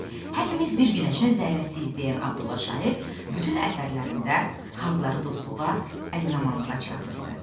Hamımız bir günəşin zərrəsiyik deyən Abdullah Şaiq bütün əsərlərində xalqları dostluğa, əmin-amanlığa çağırırdı.